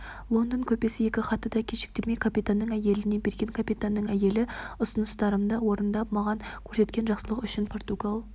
лондон көпесі екі хатты да кешіктірмей капитанның әйеліне берген капитанның әйелі ұсыныстарымды орындап маған көрсеткен жақсылығы үшін португал